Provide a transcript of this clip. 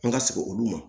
An ka sigin olu ma